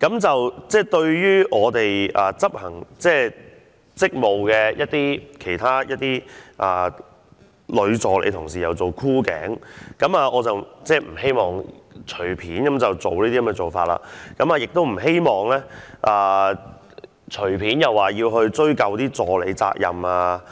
時，對一些執行職務的議員女助理作出箍頸動作，我不希望會隨便作出這種做法，亦不希望隨便對議員助理追究責任。